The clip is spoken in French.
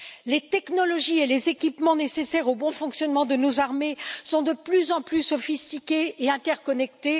Les technologies et les équipements nécessaires au bon fonctionnement de nos armées sont de plus en plus sophistiqués et interconnectés.